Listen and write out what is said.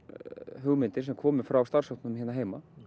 hugmyndir sem komu frá starfshópnum hérna heima